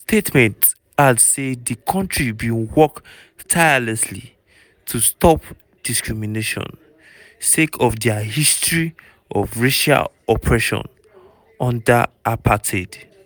di statement add say di kontri bin work "tirelessly" to stop discrimination sake of dia history of racial oppression under apartheid.